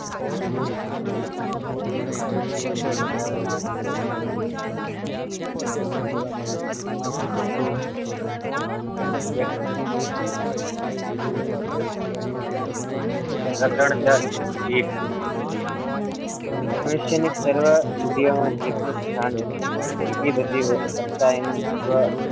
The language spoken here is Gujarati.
પ્રકરણ દસ જીભ મનુષ્યની સર્વ ઇન્દ્રિયોમાં જભનું સ્થાન વિશિષ્ટ છે બીજી બધી કરતા એનું